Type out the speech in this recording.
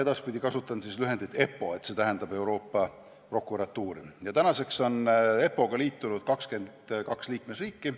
Tänaseks on EPPO-ga liitunud 22 liikmesriiki.